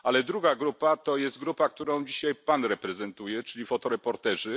A druga grupa, to jest grupa, którą dzisiaj pan reprezentuje, czyli fotoreporterzy.